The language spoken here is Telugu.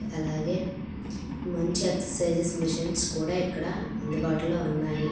అలాగే మంచి ఎక్సర్సైజ్ మిషన్స్ కూడా ఇక్కడ అందుబాటులో ఉన్నాయి.